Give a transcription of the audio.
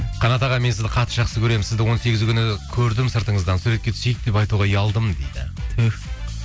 қанат аға мен сізді қатты жақсы көремін сізді он сегізі күні көрдім сыртыңыздан суретке түсейік деп айтуға ұялдым дейді түһ